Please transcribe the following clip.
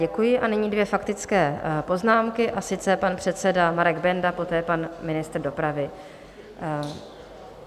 Děkuji a nyní dvě faktické poznámky, a sice pan předseda Marek Benda, poté pan ministr dopravy.